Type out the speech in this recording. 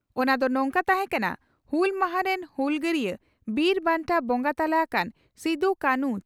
ᱚᱱᱟ ᱫᱚ ᱱᱚᱝᱠᱟ ᱛᱟᱦᱮᱸ ᱠᱟᱱᱟ ᱺᱼ ᱦᱩᱞ ᱢᱟᱦᱟ ᱨᱮᱱ ᱦᱩᱞᱜᱟᱹᱨᱤᱭᱟᱹ ᱵᱤᱨ ᱵᱟᱱᱴᱟ ᱵᱚᱸᱜᱟ ᱛᱟᱞᱟ ᱟᱠᱟᱱ ᱥᱤᱫᱚ ᱠᱟᱱᱦᱩ